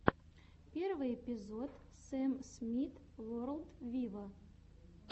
первый эпизод сэм смит ворлд виво